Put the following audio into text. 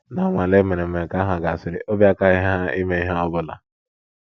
Ná nnwale e mere mgbe nke ahụ gasịrị, obi akaghị ha ime ihe ọ bụla.